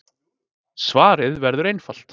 Svarið verður einfalt.